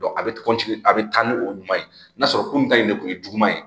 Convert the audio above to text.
a bɛ a bɛ taa ni o ɲuman ye n'a sɔrɔ ko nin ta in de kun ye juguman ye